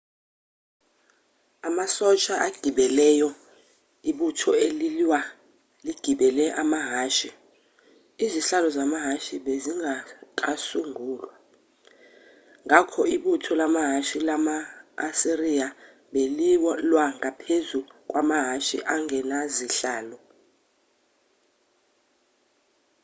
amasosha agibeleyo ibutho elilwa ligibele amahhashi izihlalo zamahhashi bezingakasungulwa ngakho ibutho lamahhashi lama-asiriya belilwa ngaphezu kwamahhashi angenazihlalo